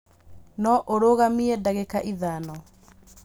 No ũrũgamie ndagĩka ithano